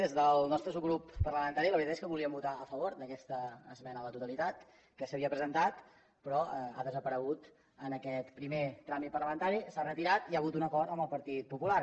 des del nostre subgrup parlamentari la veritat és que volíem votar a favor d’aquesta esmena a la totalitat que s’havia presentat però ha desaparegut en aquest primer tràmit parlamentari s’ha retirat i hi ha hagut un acord amb el partit popular